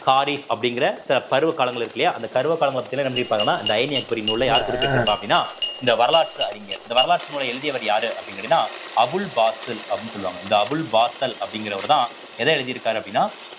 காரீஸ் அப்படிங்கிற ச~ பருவ காலங்கள் இருக்கு இல்லையா அந்த பருவ காலங்களை பத்தி எல்லாம் என்ன பண்ணி இருப்பாங்கன்னா இந்த அயனி அக்பரி நூல்ல யார் குறிப்பிட்டிருப்பா அப்படின்னா இந்த வரலாற்று அறிஞர் இந்த வரலாற்று நூலை எழுதியவர் யாரு அப்படின்னு கேட்டீங்கன்னா அபுல் பாசில் அப்படின்னு சொல்லுவாங்க இந்த அபுல் பாஷல் அப்படிங்கிறவர்தான் எதை எழுதிருக்கார் அப்படின்னா